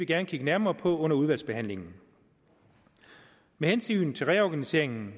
gerne kigge nærmere på under udvalgsbehandlingen med hensyn til reorganiseringen